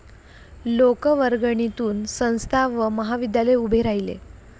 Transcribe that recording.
लोकवर्गणीतून संस्था व महाविद्यालय उभे राहिले